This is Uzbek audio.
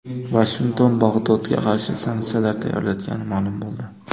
Vashington Bog‘dodga qarshi sanksiyalar tayyorlayotgani ma’lum bo‘ldi.